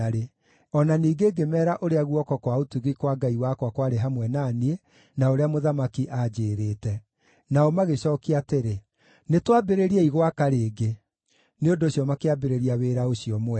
O na ningĩ ngĩmeera ũrĩa guoko kwa ũtugi kwa Ngai wakwa kwarĩ hamwe na niĩ, na ũrĩa mũthamaki anjĩĩrĩte. Nao magĩcookia atĩrĩ, “Nĩtwambĩrĩriei gwaka rĩngĩ.” Nĩ ũndũ ũcio makĩambĩrĩria wĩra ũcio mwega.